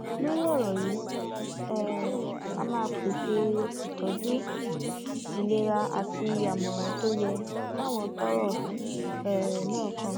lórí ọrọ yìí um á máa pèsè ìtọjú ìlera àti àmọràn tó yẹ fáwọn tọrọ um náà kàn